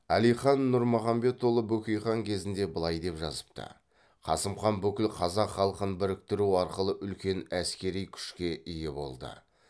әлихан нұрмұғамедұлы бөкейхан кезінде былай деп жазыпты қасым хан бүкіл қазақ халқын біріктіру арқылы үлкен әскери күшке ие болды